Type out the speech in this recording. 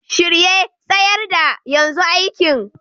Shirye, tsayar da, yanzu aiki!